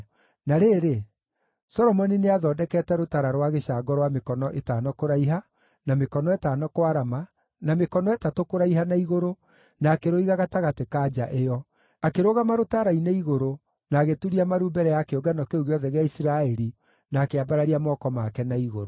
Na rĩrĩ, Solomoni nĩathondekete rũtara rwa gĩcango rwa mĩkono ĩtano kũraiha, na mĩkono ĩtano kwarama, na mĩkono ĩtatũ kũraiha na igũrũ, na akĩrũiga gatagatĩ ka nja ĩyo. Akĩrũgama rũtara-inĩ igũrũ na agĩturia maru mbere ya kĩũngano kĩu gĩothe gĩa Isiraeli na akĩambararia moko make na igũrũ.